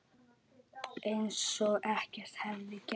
Eins og ekkert hefði gerst.